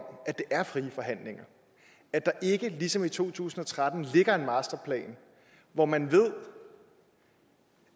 at det er frie forhandlinger at der ikke ligesom i to tusind og tretten ligger en masterplan hvor man ved